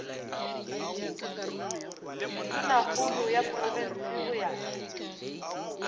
tonakgolo ya profense go ya